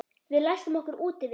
Við læstum okkur úti við